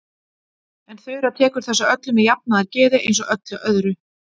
En Þura tekur þessu öllu með jafnaðargeði eins og öllu öðru.